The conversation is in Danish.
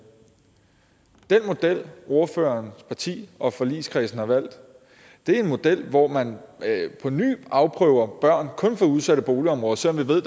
model ordførerens parti og forligskredsen har valgt er en model hvor man på ny afprøver børn kun fra udsatte boligområder selv om vi ved